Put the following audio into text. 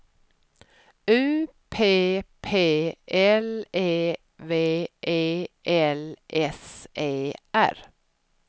U P P L E V E L S E R